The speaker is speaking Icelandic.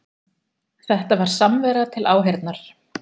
Þetta var samvera til áheyrnar